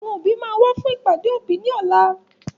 Àwọn òbí máa wá fún ìpàdé òbí ní ọlá